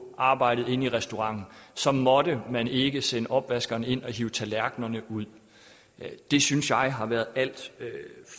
arbejdet inde i restauranten så måtte man ikke sende opvaskeren ind og hive tallerkenerne ud det synes jeg har været alt